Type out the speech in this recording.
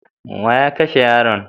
Wa ya kashe yaron?